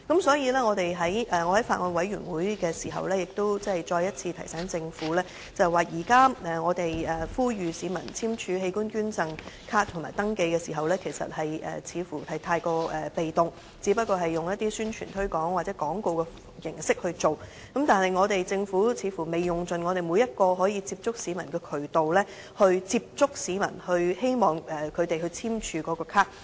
所以，我在法案委員會再次提醒政府，現在我們呼籲市民簽署器官捐贈卡和登記的時候，似乎太過被動，只是用一些宣傳推廣或廣告形式來做，政府似乎未用盡每一個接觸市民的渠道來接觸市民，希望他們簽署器官捐贈卡。